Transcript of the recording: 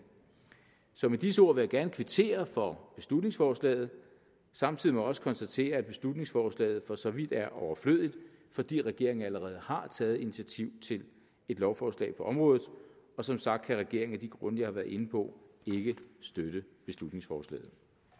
med disse ord vil jeg gerne kvittere for beslutningsforslaget og samtidig må jeg også konstatere at beslutningsforslaget for så vidt er overflødigt fordi regeringen allerede har taget initiativ til et lovforslag på området som sagt kan regeringen af de grunde jeg har været inde på ikke støtte beslutningsforslaget